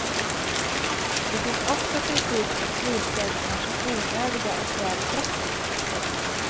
Det finns också kritik mot friställningar som onödiga och väl drastiska.